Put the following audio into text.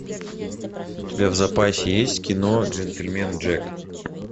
у тебя в запасе есть кино джентельмен джек